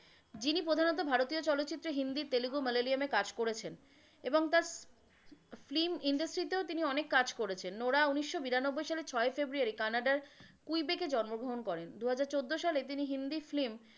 যিনি প্রধানত ভারতীয় চলচ্চিত্রে হিন্দি, তেলেগু, মালয়ালিয়ামে কাজ করেছেন এবং তার film industry তেও তিনি অনেক কাজ করেছেন। নরহা উনিশশো বিরানব্বুই সালে ছয়ই ফেব্রুয়ারী কানাডার কুলবেকে জন্মগ্রহণ করেন। দুহাজার চোদ্দো সালে তিনি হিন্দি film.